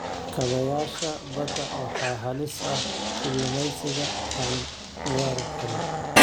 Kaabayaasha badda waxaa halis ku ah kalluumeysiga aan la waari karin.